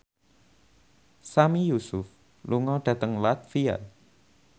Sami Yusuf lunga dhateng latvia